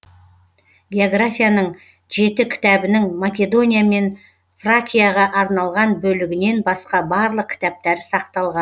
географияның жеті кітабының македония мен фракияға арналған бөлігінен басқа барлық кітаптары сақталған